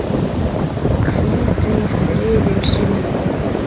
Hvíldu í friði Simmi minn.